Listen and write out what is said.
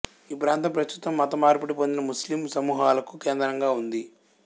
ఈ ప్రాంతం ప్రస్తుతం మతమార్పిడి పొందిన ముస్లిమ్ సమూహాలకు కేంద్రంగా ఉంది